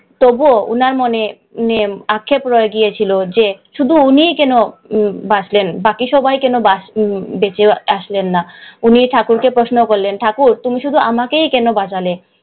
তবুও ওনার মনে আক্ষেপ রয়ে গিয়েছিলো যে, শুধু উনিই কেন বাঁচলেন, বাকি সবাই কেন বাচ বেঁচে আসলেন না। উনি ঠাকুরকে প্রশ্ন করলেন, ঠাকুর তুমি শুধু আমাকেই কেন বাঁচালে?